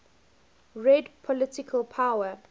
real political power